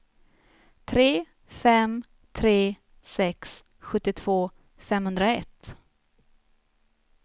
tre fem tre sex sjuttiotvå femhundraett